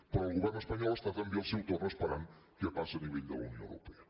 però el govern espanyol està també al seu torn esperant què passa a nivell de la unió europea